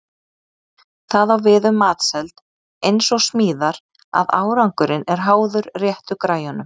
Það á við um matseld eins og smíðar að árangurinn er háður réttu græjunum.